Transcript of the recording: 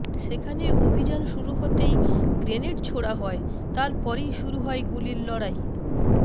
সেখানে অভিযান শুরু হতেই গ্রেনেড ছোড়া হয় তারপরেই শুরু হয় গুলির লড়াই